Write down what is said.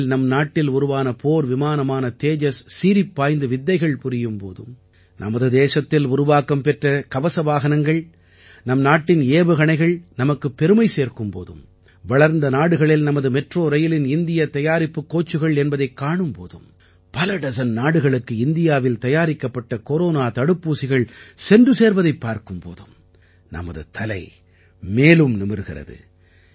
விண்ணில் நம் நாட்டில் உருவான போர் விமானமான தேஜஸ் சீறிப்பாய்ந்து வித்தைகள் புரியும் போதும் நமது தேசத்தில் உருவாக்கம் பெற்ற கவசவாகனங்கள் நம் நாட்டின் ஏவுகணைகள் நமக்குப் பெருமை சேர்க்கும் போதும் வளர்ந்த நாடுகளில் நமது மெட்ரோ ரயிலின் இந்தியத் தயாரிப்புக் கோச்சுகள் என்பதைக் காணும் போதும் பல டஜன் நாடுகளுக்கு இந்தியாவில் தயாரிக்கப்பட்ட கொரோனா தடுப்பூசிகள் சென்று சேர்வதைப் பார்க்கும் போதும் நமது தலை மேலும் நிமிர்கிறது